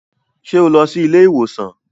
Ṣé o lọ sí ilé ìwòsàn?